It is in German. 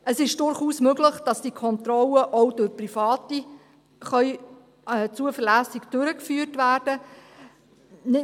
Es ist durchaus möglich, dass die Kontrollen auch durch Private zuverlässig durchgeführt werden können.